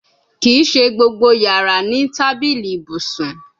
Kii ṣe gbogbo yara ni tabili ibusun